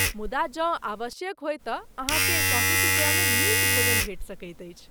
मुदा जँ आवश्यक होय तँ अहाँकेँ चौंतीस रुपयामे नीक भोजन भेटि सकैत अछि।